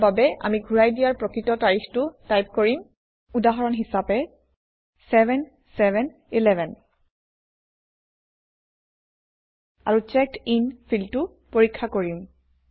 ইয়াৰ বাবে আমি ঘূৰাই দিয়াৰ প্ৰকৃত তাৰিখটো টাইপ কৰিম উদাহৰণ হিচাপে 7711 আৰু চেকডিন ফিল্ডটো পৰীক্ষা কৰিম